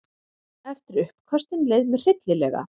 Eftir uppköstin leið mér hryllilega.